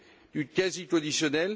du quasi codécisionnel.